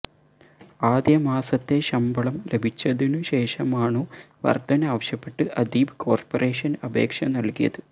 ആദ്യമാസത്തെ ശമ്പളം ലഭിച്ചതിനു ശേഷമാണു വര്ധന ആവശ്യപ്പെട്ട് അദീബ് കോര്പറേഷന് അപേക്ഷ നല്കിയത്